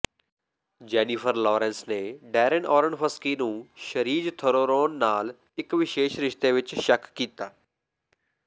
Jennifer Lawrence ਨੇ Darren Aronofsky ਨੂੰ Charlize Theron ਨਾਲ ਇਕ ਵਿਸ਼ੇਸ਼ ਰਿਸ਼ਤੇ ਵਿਚ ਸ਼ੱਕ ਕੀਤਾ